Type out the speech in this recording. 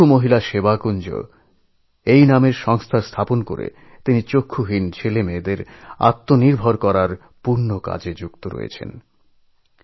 চক্ষু মহিলা সেবাকুঞ্জ নামক সংস্থা তৈরি করে দৃষ্টিহীন শিশুদের স্বনির্ভর করে তোলার পুণ্যকাজে তিনি নিজেকে উৎসর্গ করেছেন